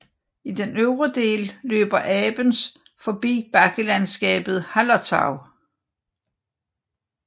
I den øvre del løber Abens forbi bakkelandskabet Hallertau